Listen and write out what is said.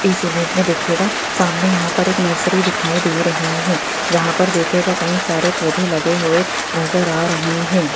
इस इमेज में देखियेगा सामने यहाँ पर एक नर्सरी दिखाई दे रही हैं जहाँ पर देखियेगा कई सारे पोधै लागे हुए नजर आ रहे हैं।